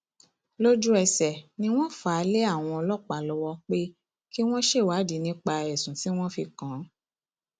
lójúẹsẹ ni wọn fà á lé àwọn ọlọpàá lọwọ pé kí wọn ṣèwádìí nípa ẹsùn tí wọn fi kàn án